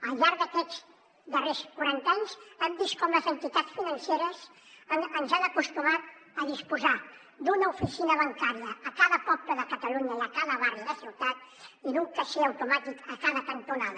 al llarg d’aquests darrers quaranta anys hem vist com les entitats financeres ens han acostumat a disposar d’una oficina bancària a cada poble de catalunya i a cada barri de ciutat i d’un caixer automàtic a cada cantonada